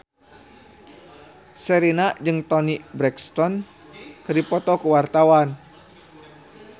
Sherina jeung Toni Brexton keur dipoto ku wartawan